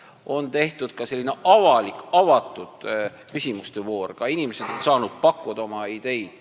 On tehtud ka selline avatud küsimuste voor, inimesed on saanud pakkuda oma ideid.